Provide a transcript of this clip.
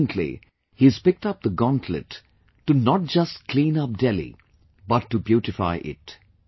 Recently, he has picked up the gauntlet to not just clean up Delhi, but to beautify it